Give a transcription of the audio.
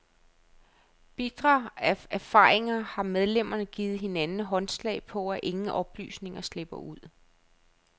Bitre af erfaringer har medlemmerne givet hinanden håndslag på, at ingen oplysninger slipper ud.